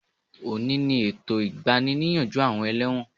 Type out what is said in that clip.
Òní ni ètò ìgbani-níyànjú àwọn ẹlẹ́wọ̀n